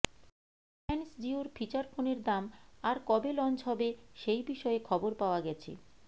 রিলায়েন্স জিওর ফিচার ফোনের দাম আর কবে লঞ্চ হবে সেই বিষয়ে খবর পাওয়া গেছে